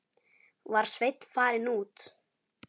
Var Sveinn farinn út?